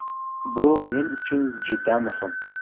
Bu men uchun juda muhim.